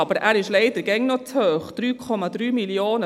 Aber, er ist leider immer noch zu hoch.